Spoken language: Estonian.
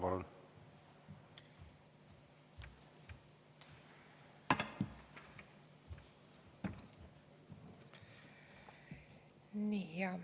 Palun!